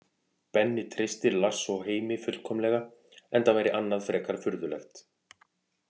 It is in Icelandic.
Benni treystir Lars og Heimi fullkomlega enda væri annað frekar furðulegt.